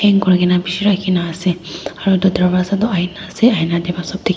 hang kurikaena bishi rakhina ase aro edu darvaza toh aina ase aina tae pa sop dikae.